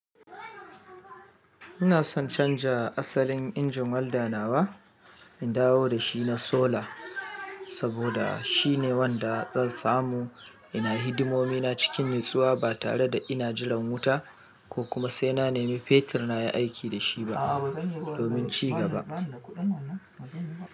Ina san canja asalin injin walda nawa, in dawo da shi na sola saboda shine wanda zan samu, ina hidimomi na cikin nutsuwa ba tare da ina jiran wuta! Ko kuma sai na nemi fetur na yi aiki da shi ba domin ci gaba.